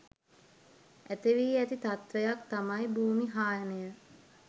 ඇති වී ඇති තත්ත්වයක් තමයි භූමි හායනය.